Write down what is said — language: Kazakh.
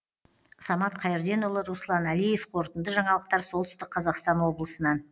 самат қайырденұлы руслан әлиев қорытынды жаңалықтар солтүстік қазақстан облысынан